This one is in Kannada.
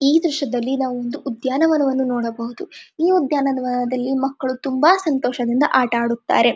ಈ ದೃಶ್ಯದಲ್ಲಿ ನಾವು ಒಂದು ಉದ್ಯಾನವನವನ್ನು ನೋಡಬಹುದು ಈ ಉದ್ಯಾನವನದಲ್ಲಿ ಮಕ್ಕಳು ತುಂಬಾ ಸಂತೋಷದಿಂದ ಆಟ ಆಡುತ್ತಾರೆ.